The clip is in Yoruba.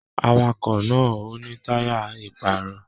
Àwàkọ̀ náà o ni taya iparọ̀ọ́.